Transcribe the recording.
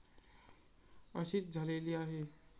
अशीच झालेली आहे.